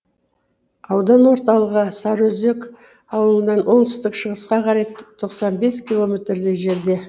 аудан орталығы сарыөзек ауылынан оңтүстік шығысқа қарай тоқсан бес километрдей жерде